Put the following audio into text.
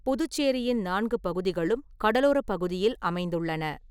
புதுச்சேரியின் நான்கு பகுதிகளும் கடலோரப் பகுதியில் அமைந்துள்ளன.